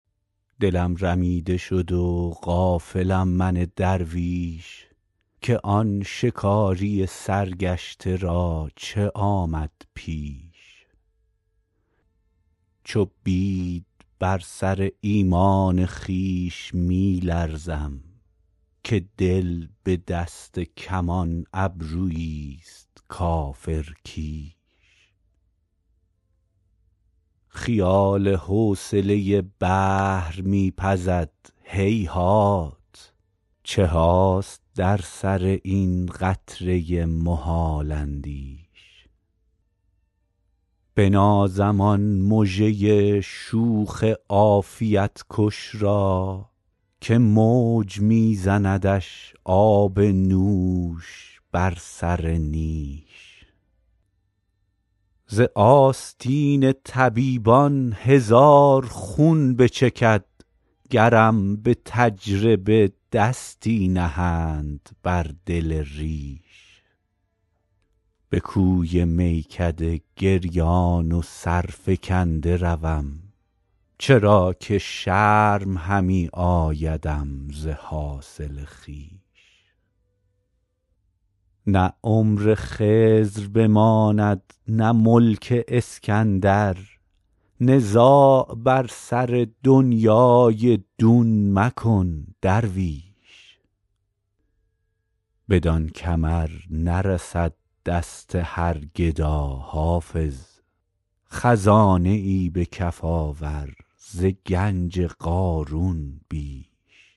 دلم رمیده شد و غافلم من درویش که آن شکاری سرگشته را چه آمد پیش چو بید بر سر ایمان خویش می لرزم که دل به دست کمان ابرویی ست کافرکیش خیال حوصله بحر می پزد هیهات چه هاست در سر این قطره محال اندیش بنازم آن مژه شوخ عافیت کش را که موج می زندش آب نوش بر سر نیش ز آستین طبیبان هزار خون بچکد گرم به تجربه دستی نهند بر دل ریش به کوی میکده گریان و سرفکنده روم چرا که شرم همی آیدم ز حاصل خویش نه عمر خضر بماند نه ملک اسکندر نزاع بر سر دنیی دون مکن درویش بدان کمر نرسد دست هر گدا حافظ خزانه ای به کف آور ز گنج قارون بیش